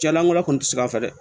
Ja lankolon kɔni ti se an fɛ dɛ